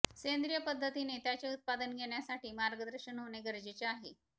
सेंद्रिय पद्धतीने त्याचे उत्पादन घेण्यासाठी मार्गदर्शन होणे गरजेचे आहे